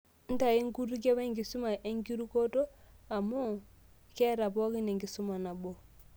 Ntayu inkutukie wenkisuma enkirukoto, amu keeta pookin enkisuma nabo.